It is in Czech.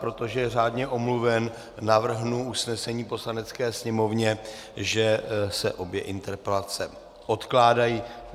Protože je řádně omluven, navrhnu usnesení Poslanecké sněmovně, že se obě interpelace odkládají.